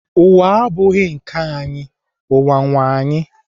Ụwa abụghị nke anyị, ụwa nwee anyị